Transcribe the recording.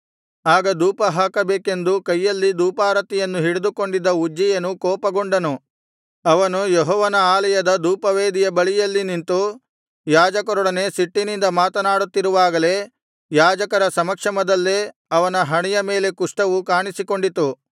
ಆಗ ಧೂಪ ಹಾಕಬೇಕೆಂದು ಕೈಯಲ್ಲಿ ಧೂಪಾರತಿಯನ್ನು ಹಿಡಿದುಕೊಂಡಿದ್ದ ಉಜ್ಜೀಯನು ಕೋಪಗೊಂಡನು ಅವನು ಯೆಹೋವನ ಆಲಯದ ಧೂಪವೇದಿಯ ಬಳಿಯಲ್ಲಿ ನಿಂತು ಯಾಜಕರೊಡನೆ ಸಿಟ್ಟಿನಿಂದ ಮಾತನಾಡುತ್ತಿರುವಾಗಲೆ ಯಾಜಕರ ಸಮಕ್ಷಮದಲ್ಲೇ ಅವನ ಹಣೆಯ ಮೇಲೆ ಕುಷ್ಠವು ಕಾಣಿಸಿಕೊಂಡಿತು